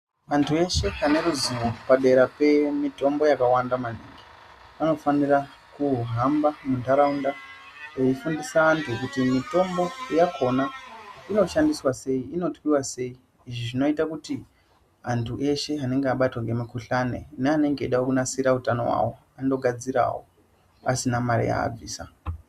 Vandu veshe vane ruzivo padera pemutombo yakawanda maningi vanofanirwa kuhamba mundaraunda veifundisa vanhu kuti mutombo yakona inoshandiswa sei inotwiwa sei izvi zvinoita kuti vandu eshe anenge abatwa ngemukuhlani neanenge eida kunasira utano hwawo anogadzira hawo asina mari yavaibvisa.